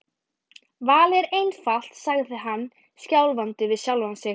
Valið er einfalt sagði hann skjálfandi við sjálfan sig.